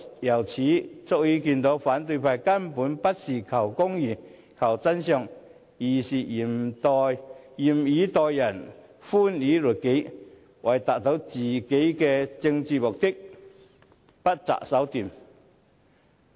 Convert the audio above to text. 由此可見，反對派根本不是求公義、求真相，而是嚴以待人、寬以律己，為了達到自己的政治目的，不擇手段。